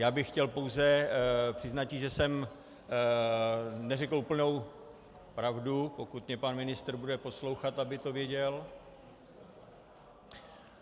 Já bych chtěl pouze přiznati, že jsem neřekl úplnou pravdu, pokud mě pan ministr bude poslouchat, aby to věděl.